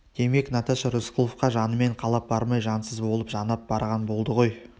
демек наташа рысқұловқа жанымен қалап бармай жансыз болып жанап барған болды ғой